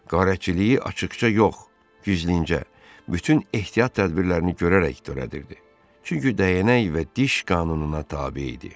Qarətçiliyi açıqca yox, gizlincə, bütün ehtiyat tədbirlərini görərək törədirdi, çünki dəyənək və diş qanununa tabe idi.